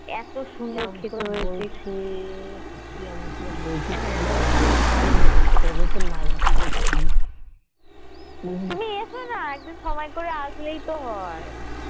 এত সুন্দর খেতে হয়েছে তুমি এসোনা একদিন সময় করে আসলেই তো হয়